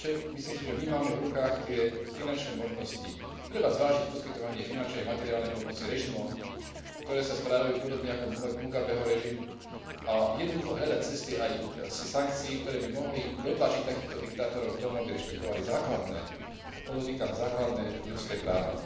Myslím si, že my máme v rukách tie finančné možnosti. Treba zvážiť poskytovanie finančnej a materiálnej pomoci režimom, ktoré sa správajú podobne ako Mugabeho režim a jednoducho hľadať cesty aj sankcií, ktoré by mohli dotlačiť takýchto diktátorov k tomu, aby rešpektovali základné, podotýkam, základné ľudské práva.